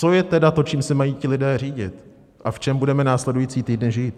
Co je tedy to, čím se mají ti lidé řídit a v čem budeme následující týdny žít?